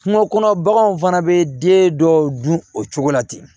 Kungo kɔnɔ baganw fana bɛ den dɔw dun o cogo la ten